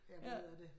Ja